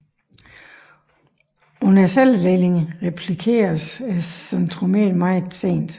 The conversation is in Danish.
Under celledelingen replikeres centromeret meget sent